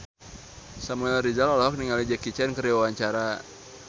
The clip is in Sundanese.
Samuel Rizal olohok ningali Jackie Chan keur diwawancara